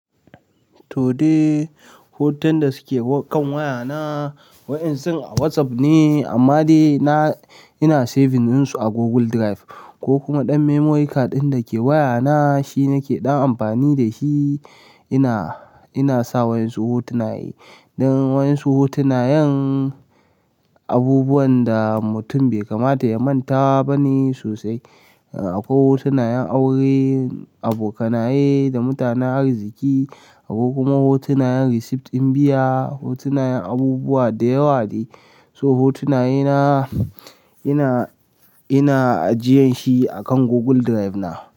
To dai, hoton da suke kan wayana, wayan su a WhatsApp ne amma dai na, ina saving din su a Google Drive ko kuma ɗan memory card ɗin da ke wayana shi nake ɗan amfani da shi ina, ina sa wayan su hotuna. Don wayan su hotunayen abubuwan da mutum bai kamata ya manta ba ne sosai. Akwai hotunan yen aure, abokanaye da mutanen arziki, akwai kuma hotunan yen receipt ɗin biya, hotunan yin abubuwa da yawa dai so hotunaye na ina, ina ajiyan shi akan Google Drive na.